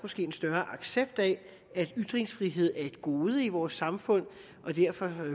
en større accept af at ytringsfrihed er et gode i vores samfund og derfor